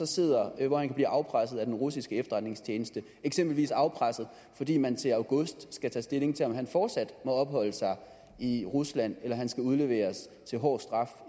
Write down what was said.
sidder hvor han kan blive afpresset af den russiske efterretningstjeneste eksempelvis afpresset fordi man til august skal tage stilling til om han fortsat må opholde sig i rusland eller om han skal udleveres til hård straf